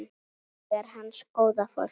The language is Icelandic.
Þannig er hans góða fólk.